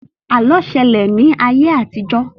Àlọ́ ṣẹlẹ̀ ní ayé àtijọ́